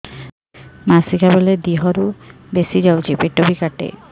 ମାସିକା ବେଳେ ଦିହରୁ ବେଶି ଯାଉଛି ପେଟ ବି କାଟେ